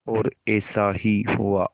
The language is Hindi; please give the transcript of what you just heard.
और ऐसा ही हुआ